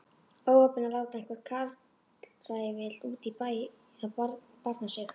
Óheppin að láta einhvern karlræfil úti í bæ barna sig.